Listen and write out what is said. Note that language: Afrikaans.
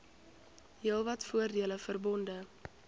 heelwat voordele verbonde